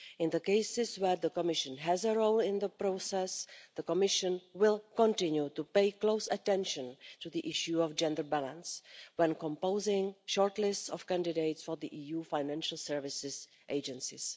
In the cases where the Commission has a role in the process, the Commission will continue to pay close attention to the issue of gender balance when composing shortlist of candidates for the EU financial services agencies.